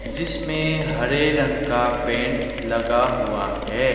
जिसमें हरे रंग का पेंट लगा हुआ है।